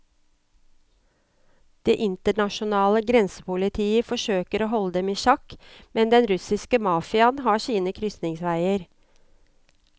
Det internasjonale grensepolitiet forsøker å holde dem i sjakk, men den russiske mafiaen har sine krysningsveier.